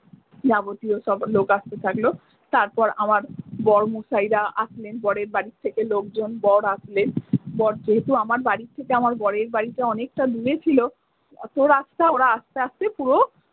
যাবতীয় সব লোক আস্তে থাকলো তারপর আমার বর মশাইরা আসলেন বরের বাড়ি থেকে লোকজন বর আসলেন বর যেহেতু আমার বাড়ি থেকে আমার বরের বাড়িটা অনেকটা দূরে ছিলো অতো রাস্তা ওরা আস্তে আস্তে পুরো।